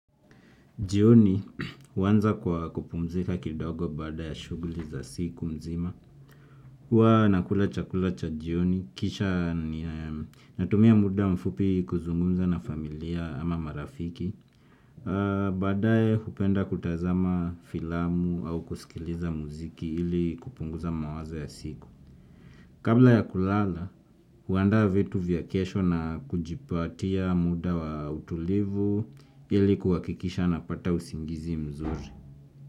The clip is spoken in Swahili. Jioni huanza kwa kupumzika kidogo baada ya shughuli za siku nzima. Huwa nakula chakula cha jioni, kisha natumia muda mfupi kuzungumza na familia ama marafiki. Baadaye hupenda kutazama filamu au kusikiliza muziki ili kupunguza mawazo ya siku. Kabla ya kulala, huandaa vitu vya kesho na kujipatia muda wa utulivu ili kuhakikisha napata usingizi mzuri.